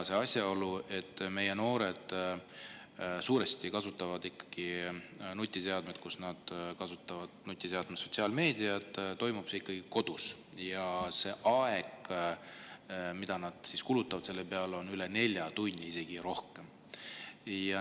Kui meie noored kasutavad nutiseadmes sotsiaalmeediat, siis toimub see suuresti ikkagi kodus, ja nad kulutavad selle peale üle nelja tunni, isegi rohkem.